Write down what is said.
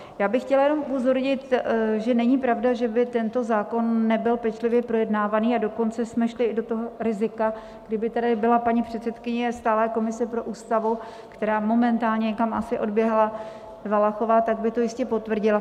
Já bych chtěla jenom upozornit, že není pravda, že by tento zákon nebyl pečlivě projednávaný, a dokonce jsme šli i do toho rizika, kdyby tady byla paní předsedkyně stálé komise pro Ústavu, která momentálně někam asi odběhla, Valachová, tak by to jistě potvrdila.